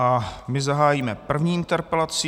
A my zahájíme první interpelací.